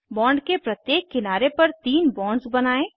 bond के प्रत्येक किनारे पर तीन बॉन्ड्स बनायें